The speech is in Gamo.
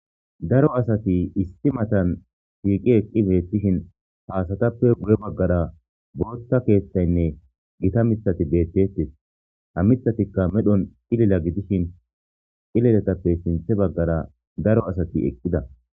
daro asati isti matan shiiqi eqqi beettishin paasatappe bure baggara bootta keeththaynne gita mithati deettetes ha mithatikka medhon xilila gidishin xileletappe sinthe baggara daro asati eqqida